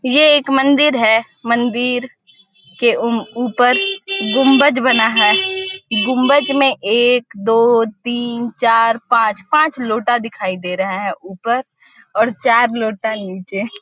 ये एक मंदिर है मंदिर के ऊपर गुंबज बना है गुंबज में एक दो तीन चार पांच पांच लोटा दिखाई दे रहा है ऊपर और चार लोटा नीचे --